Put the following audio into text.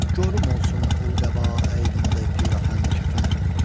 Gor olsun ol qəba əydimdə pirahən kəfən.